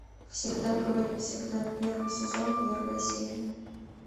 всегда говори всегда первый сезон первая серия